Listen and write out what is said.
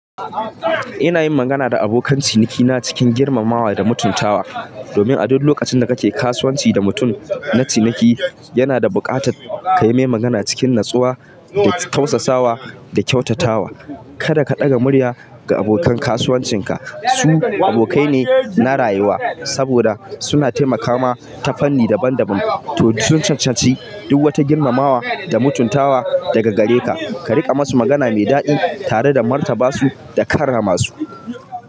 Ina yin magana da abokan cinikina cikin girmamawa da mutuntawa. Domin a duk lokacin da kake kasuwanci da mutum na ciniki, yana da bukata ka yi mai magana cikin natsuwa da tausasawa da kyautatawa. Kada ka ɗaga murya ga abokan kasuwancinka. Su abokai ne na rayuwa saboda suna taimaka ma ta fanni daban-daban. To, sun cancanci duk wata girmamawa da mutuntawa daga gare ka. Ka riƙa masu magana mai daɗi tare da martaba su da karrama su.